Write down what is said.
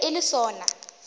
e be e le sona